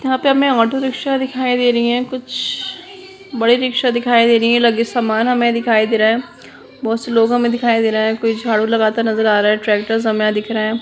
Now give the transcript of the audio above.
यहां पर हमें ऑटो रिक्शा दिखाई दे रही है कुछ बड़े भी रिक्शा दिखाई दे रही हैं लगभग सामान हमें दिखाई दे रहा है बहुत से लोग हमे दिखाई दे रहे हैं कोई झाड़ू लगाता हुआ नजर आ रहा है ट्रैक्टर्स हमें यहां दिख रहे हैं।